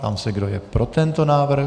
Ptám se, kdo je pro tento návrh.